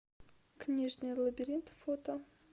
книжный лабиринт фото